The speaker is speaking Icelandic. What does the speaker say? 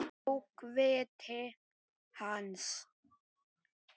Bókviti hans?